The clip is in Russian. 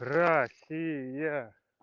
россия